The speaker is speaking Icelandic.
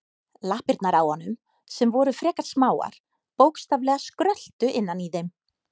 Lappirnar á honum, sem voru frekar smáar, bókstaflega skröltu innan í þeim.